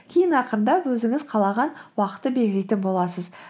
кейін ақырындап өзіңіз қалаған уақытты белгілейтін боласыз